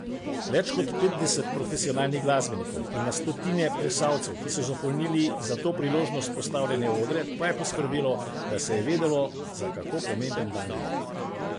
Več kot petdeset profesionalnih glasbenikov in na stotine plesalcev, ki so zapolnili za to priložnost postavljene odre, pa je poskrbelo, da se je vedelo, za kako pomemben dan gre.